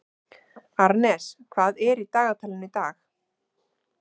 Arnes, hvað er í dagatalinu í dag?